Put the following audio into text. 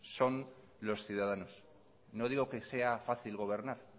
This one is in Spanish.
son los ciudadanos no digo que sea fácil gobernar